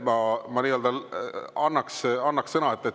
Ma annaks teile sõna.